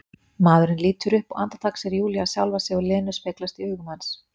Maðurinn lítur upp og andartak sér Júlía sjálfa sig og Lenu speglast í augum hans.